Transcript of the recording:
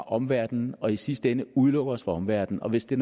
omverdenen og i sidste ende udelukker os fra omverdenen og hvis der